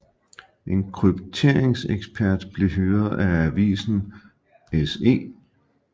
En krypteringsekspert blev hyret af avisen SE